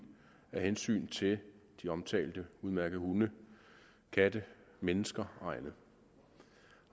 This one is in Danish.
af hensyn til de omtalte udmærkede hunde katte mennesker